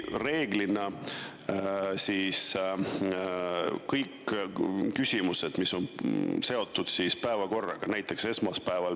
Reeglina kõik küsimused, mis on seotud päevakorraga, on esmaspäeval.